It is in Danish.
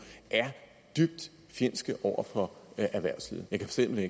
er dybt fjendske over for erhvervslivet jeg kan simpelt